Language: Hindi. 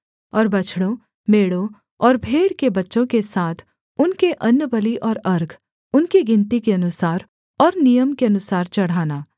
और बछड़ों मेढ़ों और भेड़ के बच्चों के साथ उनके अन्नबलि और अर्घ उनकी गिनती के अनुसार और नियम के अनुसार चढ़ाना